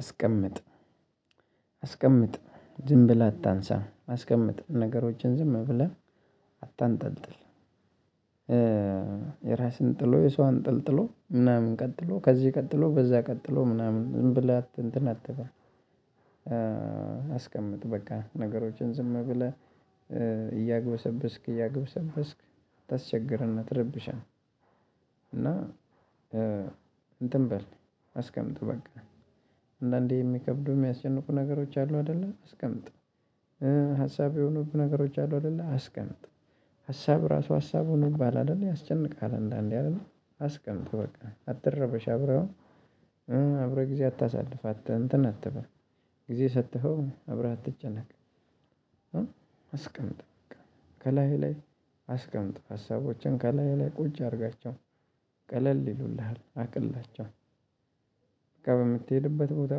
አስቀምጥ ዝም ብለህ አታንሳ አስቀምጥ ነገሮችን ዝም ብለህ አታንጠልጥል። የራስን ጥሎ የሰው አንጠልጥሎ ምናምን ቀጥሎ ከዚህ ቀጥሎ በዛ ቀጥሎ ምናምን ዝም ብለህ እንተን አትበል። አስቀምጥ በቃ ነገሮችን ዝም ብለህ እያገበሰብስክ እያገበሰብስክ ታስቸግር እና ትርብሸን። እና እንትን በል አስቀምጥ በቃ አንዳንዴ የሚከብደው የሚያስጨንቁ ነገሮች አሉ አይደለ አስቀምጥ። ሀሳብ የሆኑብህ ነገሮች አሉ አይደለ አስቀምጥ ሀሳብ ራሱ ሀሳብ ሆኖ እባላለሁ ያስጨንቃል። አንዳንዴ አይደለ። አስቀምጥ በቃ አትረበሽ አብረህው አብረህው ጊዜ አታሳልፍ አትን አትበል ጊዜ ሰጥተኸው አብረህ አትጨነቅ። አስቀምጥህ ከላህ አስቀምጥ ሀሳቦችን ከላይ ላይ ቁጭ አድርጋቸው ቀለል ይሉልሃል አቅላቸው። በቃ በምትሄድበት ቦታ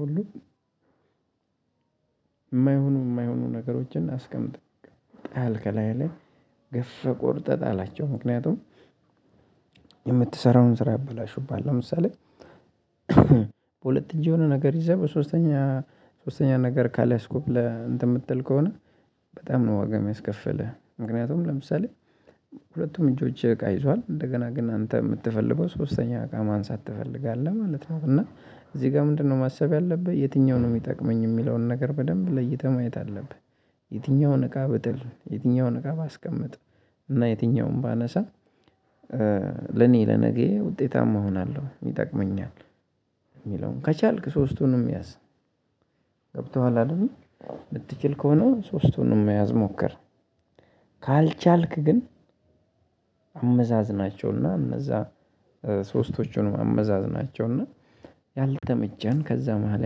ሁሉ የማይሆኑ ነገሮችን አስቀምጥ። ጣል ከላህ ላይ ገፍ ህ ቆርጠህ ጣላቸው። ምክንያቱም የምትሰራውን ስራ ያበላሹብሃል። ለምሳሌ በሁለት እጅ የሆነ ነገር ይዘህ በሶስተኛ ሶስተኛ ነገር ካላያስኲ ብለህ እንተን የምትል ከሆነ። በጣም ነው ዋጋ የሚያስከፍልህ ምክንያቱም። ለምሳሌ ሁለቱም እጆቸ እቃ ይዟል እንደገና ግን አንተ የምትፈልገው ሶስተኛ እቃ ማንሳት ትፈልጋለህ ማለት ነው። እና እዚህ ጋር ምንድነው ማሰብ ያለብህ የትኛውን ነው የሚጠቅመኝ የሚለውን ነገር በደንብ ለይተህ ማየት አለብህ። የትኛውን እቃ ብጥል የትኛውን እቃ ባስቀምጥ እና የትኛውንም ባነሳ። ለነገየ ውጤታማ እሆናለሁ ይጠቅመኛል። የሚለውን ከቻልክ ሶስቱንም ያዝ። ገብቶሃል አይደል የምትችል ከሆነ ሶስቱንም መያዝ ሞክር። ካልቻልክ ግን አመዛዝናቸው እና እነዛ ሶስቶቹን አመዛዝ ናቸው እና ያልተመቸን ከዛ መሃል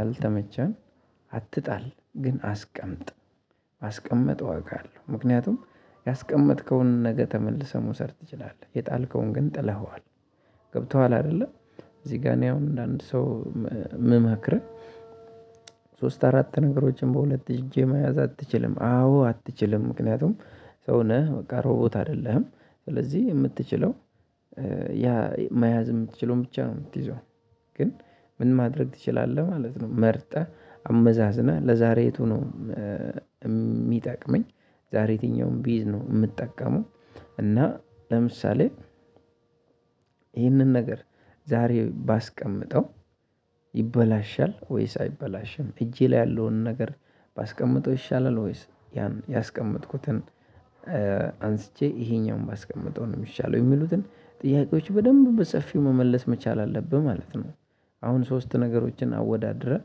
ያልተመቸን አትጣል ግን አስቀምጥ። አስቀምጠው አውቃለሁ ምክንያቱም ያስቀመጥከውን ነገ ተመልሰህ መውሰድ ትችላለህ። የጣልከውን ግን ጥለኸዋል። ገብቶሃል አይደለ? እዚህ ጋር እኔ አሁን እንደ አንድ ሰው ም ምመክርህ ሶስት አራት ነገሮችን በሁለት እጄ መያዝ አትችልም አዎ አትችልም ምክንያቱም ሰው ነህ በቃ ሮቦት አይደለህም። ስለዚህ የምትችለው ያ መያዝ የምትችለውን ብቻ ነው የምትይዘው። ግን ምን ማድረግ ትችላለህ ማለት ነው መርጠህ አመዛዝነህ ለዛሬ የቱ ነው? የሚጠቅመኝ ዛሬ የትኛውም ብይዝ ነው የምጠቀመው። እና ለምሳሌ ይህንን ነገር ዛሬ ባስቀምጠው ይበላሻል ወይስ አይበላሽም እጄ ላይ ያለውን ነገር ባስቀምጠው ይሻላል ወይስ ያን ያስቀመጥኩትን? አንስቸ ይሄኛውን ባስቀመጠው ነው የሚሻለው የሚሉትን ጥያቄዎች በደንብ በሰፊው መመለስ መቻል አለብህ ማለት ነው። አሁን ሶስት ነገሮችን አወዳድረህ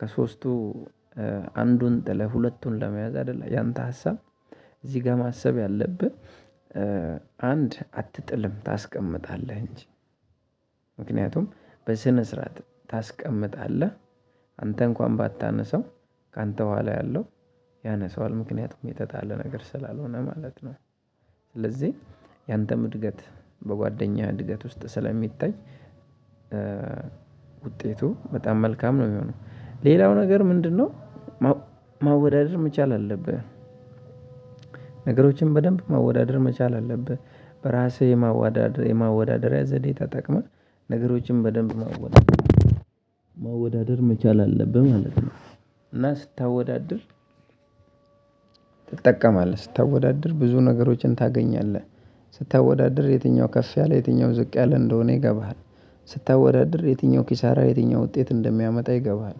ከሶስቱ አንዱን ጥለህ ሁለቱን ለመያዝ አይደለ ያንተ ሀሳብ እዚህ ጋር ማሰብ ያለብህ አንድ አትጥልም ታስቀምጣለህ እንጂ በስነ ስርዓት ታስቀምጣለህ። አንተ እንኳን ባታነሰው ካንተ በኋላ ያለው ያነሳዋል ምክንያቱም የተጣለ ነገር ስላልሆነ ማለት ነው። ስለዚህ ያንተም እድገት በጓደኛ እድገት ውስጥ ስለሚታይ። ውጤቱ በጣም መልካም ነው የሚሆነው ሌላው ነገር ምንድነው? ማወዳደር መቻል አለብህ። ነገሮችን በደንብ ማወዳደር መቻል አለብህ በራስህ የማወዳደር የማወዳደሪያ ዘዴ ታጠቅመህ ነገሮችን በደንብ ማወዳደር መቻል አለብህ ማለት ነው። እና ስታወዳድር ትጠቀማለህ ስታወዳድር ብዙ ነገሮችን ታገኛለህ ስታወዳድር የትኛው ከፍ ያለ የትኛው ዝቅ ያለ እንደሆነ ይገባሃል ስታወዳድር የትኛው ኪሳራ የትኛው ውጤት እንደሚያመጣ ይገባሃል።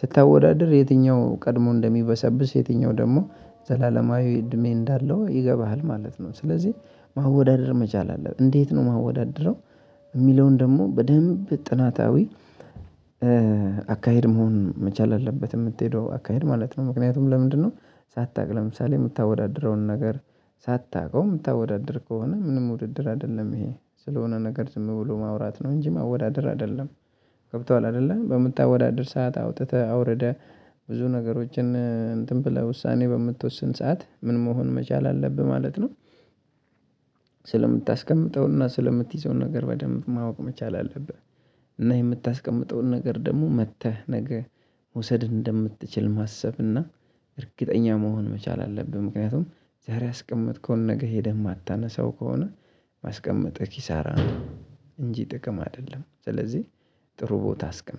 ስታወዳድር የትኛው ቀድሞ እንደሚበሰብስ የትኛው ደግሞ ዘላለማዊ እድሜ እንዳለው ይገባሃል ማለት ነው። ሥለዚህ ማወዳደር መቻል አለብህ። እንዴት ነው ማወዳደረው የሚለውን ደግሞ በደንብ ጥናታዊ አካሄድ መሆን መቻል አለበት። የምትሄደው አካሄድ ማለት ነው። ምክንያቱም ለምንድነው? ሳታውቅ ለምሳሌ የምታወዳድረውን ነገር ሳታውቀው የምታወዳድር ከሆነ ምንም ውድድር አይደለም ይሄ ስለሆነ ነገር ዝም ብሎ ማውራት ነው እንጂ ማወዳደር አይደለም። ገብቶሃል አይደለም? በምታወዳድር ሰዓት አውጥተህ አውርደህ ብዙ ነገሮችን እንትን ብለህ ውሳኔ በምትወስን ሰዓት ምን መሆን መቻል አለብህ ማለት ነው። ስለምታስቀምጠው እና ስለምትይዘው ነገር በደንብ ማወቅ መቻል አለብህ። እና የምታስቀምጠውን ነገር ደግሞ መጥተህ ነገ መውሰድ እንደምትችል ማሰብ እና እርግጠኛ መሆን መቻል አለብህ። ምክንያቱም ዛሬ ያስቀመጥከውን ነገ ሄደህ የማታነሳው ከሆነ ማስቀመጥህ ኪሳራ ነው። እንጂ ጥቅም አይደለም። ስለዚህ ጥሩ ቦታ አስቀምጥ